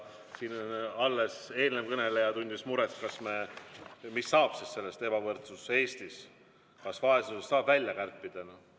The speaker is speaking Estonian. Siin alles eelmine kõneleja tundis muret, mis saab sellest "Ebavõrdsus Eestis – kas vaesusest saab välja kärpida?".